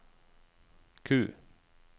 Q